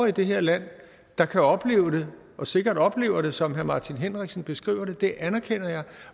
i det her land der kan opleve det og sikkert oplever det som herre martin henriksen beskriver det det anerkender jeg